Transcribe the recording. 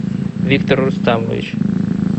виктор рустамович